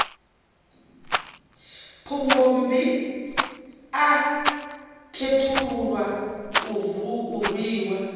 phungommbi a khethululwa a rwiwa